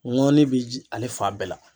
N ŋɔni bi ji ale fan bɛɛ la.